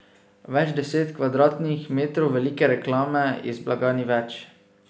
Več deset kvadratnih metrov velike reklame iz blaga ni več.